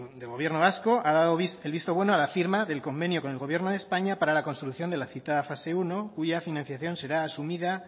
de gobierno vasco ha dado el visto bueno a la firma del convenio con el gobierno de españa para la construcción de la citada fase primero cuya financiación será asumida